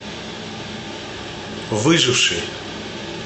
выживший